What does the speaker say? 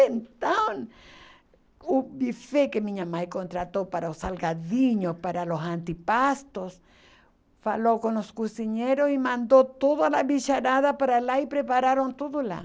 Então, o buffet que minha mãe contratou para os salgadinhos, para os antepastos, falou com os cozinheiros e mandou toda a bicharada para lá e prepararam tudo lá.